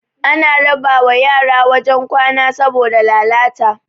ana raba wa yara wajen kwana saboda lalalta